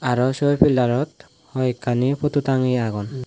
araw se pillarot hoi ekkani potu tangeye agon.